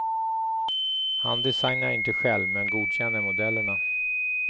Han designar inte själv, men godkänner modellerna.